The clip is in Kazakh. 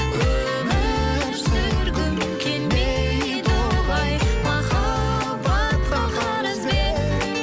өмір сүргім келмейді олай махаббатқа қарызбен